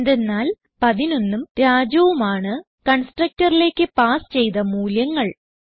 എന്തെന്നാൽ 11ഉം Rajuഉം ആണ് constructorലേക്ക് പാസ് ചെയ്ത മൂല്യങ്ങൾ